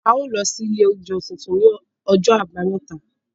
A ó lọ sí ilé oúnjẹ tuntun ní ọjọ́ àbámẹ́ta